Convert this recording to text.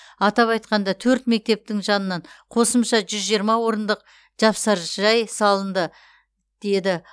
атап айтқанда төрт мектептің жанынан қосымша жүз жиырма орындық жапсаржай салынды деді